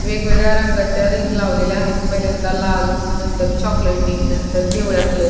वेगवेगळ्या रंगाच्या रिंग लावलेल्या आहेत पहिल्यांदा लाल नंतर चॉकलेटी नंतर पिवळ्या कलर --